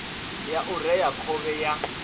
ya u rea khovhe ya